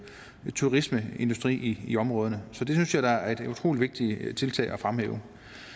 turismeindustri i i områderne så det synes jeg da er et utrolig vigtigt tiltag at fremhæve